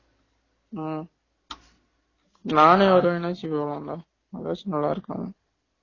உம் நானே வருவேன்னு வச்சுக்கோ எதாச்சு நல்லா இருக்கும்